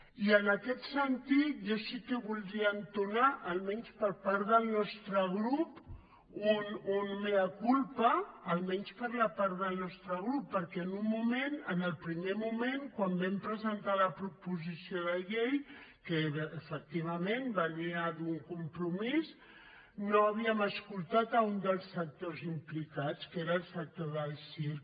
i en aquest sentit jo sí que voldria entonar almenys per part del nostre grup un mea culpa almenys per la part del nostre grup perquè en el primer moment quan vam presentar la proposició de llei que efectivament venia d’un compromís no havíem escoltat un dels sectors implicats que era el sector del circ